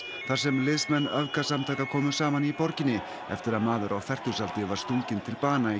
þar sem liðsmenn öfgasamtaka komu saman í borginni eftir að maður á fertugsaldri var stunginn til bana í